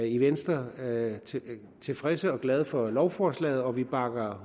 i venstre tilfredse og glade for lovforslaget og vi bakker